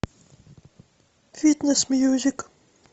фитнес мьюзик